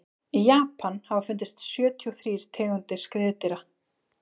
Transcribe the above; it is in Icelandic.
í japan hafa fundist sjötíu og þrír tegundir skriðdýra